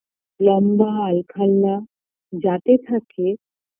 লম্বা আলখাল্লা যাতে থাকে